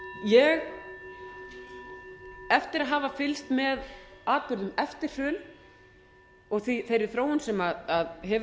ég eftir að hafa fylgst með atburðum eftir hrun og þeirri þróun sem hefur orðið ég leyfi mér að